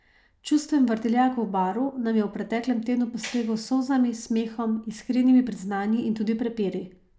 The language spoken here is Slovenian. Čustven vrtiljak v Baru nam je v preteklem tednu postregel s solzami, smehom, iskrenimi priznanji in tudi prepiri.